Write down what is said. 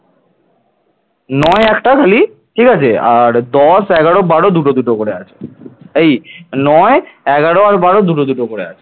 এই নয় এগারো আর বারো দুটো দুটো করে আছে।